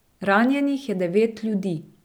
Ranjenih je devet ljudi.